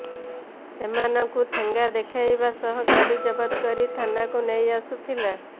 ସେମାନଙ୍କୁ ଠେଙ୍ଗା ଦେଖାଇବା ସହ ଗାଡ଼ି ଜବତ କରି ଥାନାକୁ ନେଇ ଆସୁଥିଲା